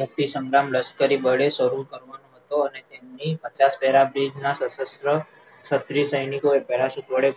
મુક્તિ સંગ્રામ લશકરી બળે શરુ કરવાનો હતો અને તેમની પચાસ para bridge સશત્ર છત્રીસ સૈનિકને parachute વડે